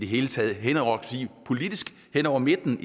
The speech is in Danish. hele taget politisk hen over midten